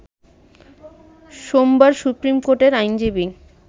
সোমবার সুপ্রিমকোর্টের আইনজীবী